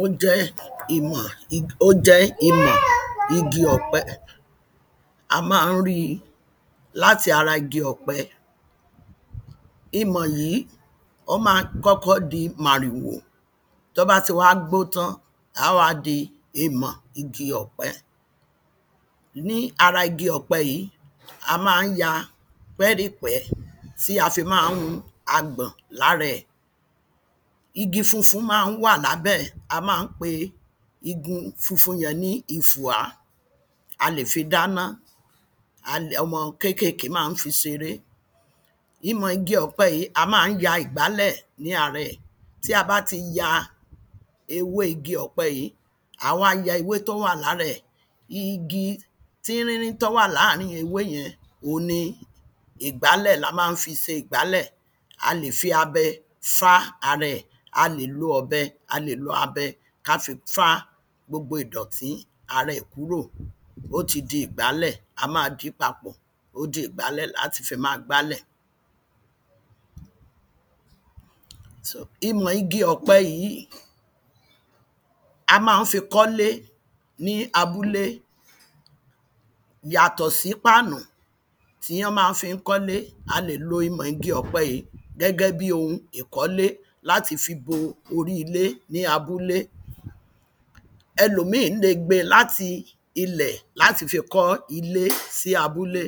ó jẹ́ ìmọ ó jẹ́ ìmọ ̀ igi ọ̀pẹ a má ń ri láti ara igi ọ̀pẹ imọ̀ yìí ó ma kọ́kọ́ di màrìwò tọ́ bá ti wá gbó tán á wá di imọ̀ igi ọ̀pẹ ni ara igi ọ̀pẹ yìí a má ń ya pẹ́rípẹ̀ẹ́ tí a fi má ń mu agbọ̀n lára ẹ̀ igi funfun má ń wàlábẹ́ẹ̀ a má ń pe igun funfun yẹn ní ifùà a lè fi dáná ọmọ kékèké má ń fi seré imọ̀ igi ọ̀pẹ yìí a má ń ya ìgbálẹ̀ ní arẹẹ̀ tí a bá ti ya ewé igi ọ̀pẹ yìí a wa ya ewé tó wà lárẹẹ̀ igi tínrínrín tọ wà lárín ewé yẹn ò ni ìgbálẹ̀ la má ń fi se ìgbálẹ̀ a lè fi abẹ fá araẹ̀ a lè lo ọ̀bẹ a lè lo abẹ ká fi fá gbogbo ìdọ̀tí arẹẹ̀ kúrò ó ti di ìgbálẹ̀ a ma dìí papọ̀ ó di ìgbálẹ̀ láti fi ma gbálẹ̀ imọ̀ igi ọ̀pẹ yìí a má ń fi kọ́lé ní abúlé yàtọ̀ sí páànù tí ó má fí kọ́lé a lè lo imọ̀ igi ọ̀pẹ yìí gẹ́gẹ́ bi ohun ìkọ́lé láti fi bo orí ilé ní abúlé ẹlòmíì le gbe láti ilẹ̀ láti fi kọ́ ilé sí abúlé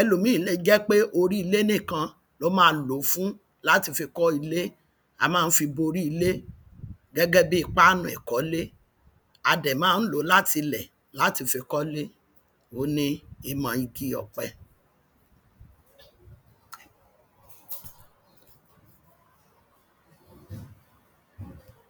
ẹlòmíì le jẹ́ pé orílé nìkan ló ma lò fún láti fi kọ́ ile a má ń fi bò orí ilé gẹ́gẹ́ bí páànù ẹ̀kọ́lé a dẹ̀ má ń lò láti ilẹ̀ láti fi kọ́le òun ni imọ̀ igi ọ̀pẹ